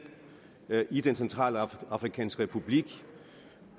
i den centralafrikanske republik